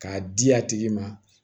K'a di a tigi ma